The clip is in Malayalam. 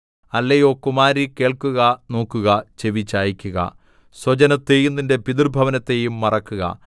അല്ലയോ കുമാരീ കേൾക്കുക നോക്കുക ചെവിചായിക്കുക സ്വജനത്തെയും നിന്റെ പിതൃഭവനത്തെയും മറക്കുക